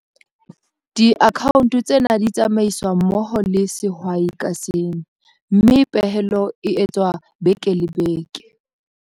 Diakhaonto tsena di tsamaiswa mmoho le sehwai ka seng, mme pehelo e etswa beke le beke.